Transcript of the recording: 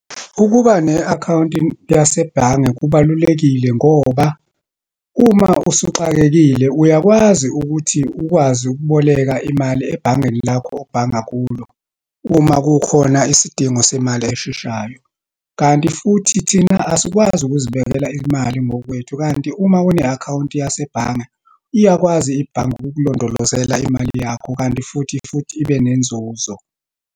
Ukuba ne-akhawunti yase bhange kubalulekile, ngoba uma usuxakekile uyakwazi ukuthi ukwazi ukuboleka imali ebhangeni lakho obhanga kulo, uma kukhona isidingo semali esheshayo. Kanti futhi thina asikwazi ukuzibekela imali ngokwethu, kanti uma une-akhawunti yase bhange, iyakwazi ibhange ukukulondolozela imali yakho, kanti futhi, futhi ibe nenzuzo.